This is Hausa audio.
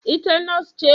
Ita Nurse ce?